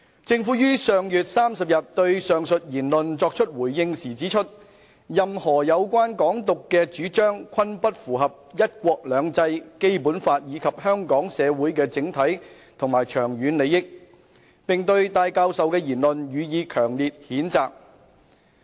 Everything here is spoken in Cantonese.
政府於上月30日對上述言論作出回應時指出，任何有關"港獨"的主張，均不符合"一國兩制"、《基本法》以及香港社會的整體和長遠利益，並對戴教授的言論予以強烈譴責。